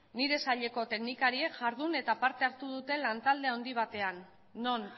nire saileko teknikariek jardun eta parte hartu dute lantalde handi batean non